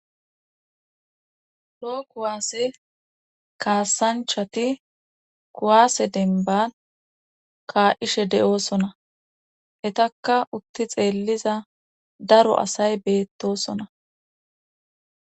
lo kuwaasse kaasanchati kuwaase denba kaa7ishe de7oosona hetakka utti xeelliza daro asay beettosona